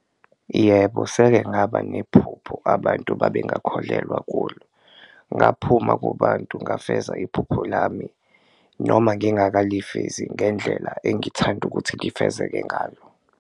Yebo, seke ngaba nephupho abantu babengakholelwa kulo, ngaphuma kubantu ngafeza iphupho lami noma ngingakalifezi ngendlela engithanda ukuthi lifezeke ngalo.